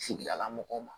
Sigidala mɔgɔw ma